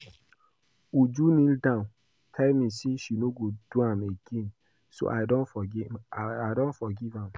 Uju kneel down tell me say she no go do am again so I don forgive am